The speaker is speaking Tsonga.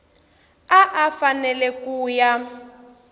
a a fanele ku ya